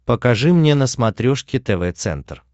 покажи мне на смотрешке тв центр